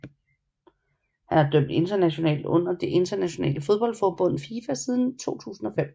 Han har dømt internationalt under det internationale fodboldforbund FIFA siden 2005